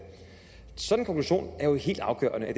er jo helt afgørende at